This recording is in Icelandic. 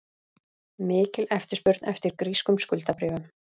Mikil eftirspurn eftir grískum skuldabréfum